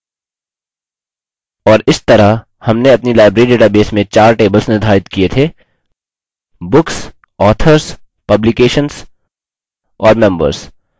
और इस तरह हमने अपनी library database में चार tables निर्धारित किये थे: books authors publications और members